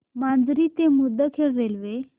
माजरी ते मुदखेड रेल्वे